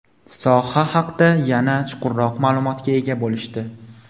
soha haqda yanada chuqurroq ma’lumotga ega bo‘lishdi.